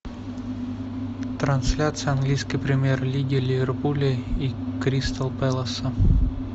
трансляция английской премьер лиги ливерпуля и кристал пэласа